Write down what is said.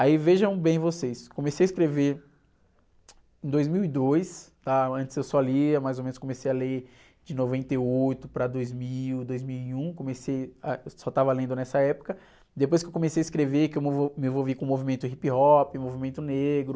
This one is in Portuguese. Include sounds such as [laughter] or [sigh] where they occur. Aí vejam bem vocês, comecei a escrever em dois mil e dois, antes eu só lia, mais ou menos, comecei a ler de noventa e oito para dois mil, dois mil e um, comecei a, eu só estava lendo nessa época, depois que eu comecei a escrever que eu me, [unintelligible] me envolvi com o movimento hip hop, movimento negro,